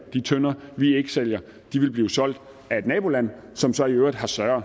de tønder vi ikke sælger ville blive solgt af et naboland som så i øvrigt har større